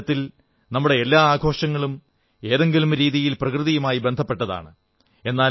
ഒരു തരത്തിൽ നമ്മുടെ എല്ലാ ആഘോഷങ്ങളും ഏതെങ്കിലും രീതിയിൽ പ്രകൃതിയുമായി ബന്ധപ്പെട്ടതാണ്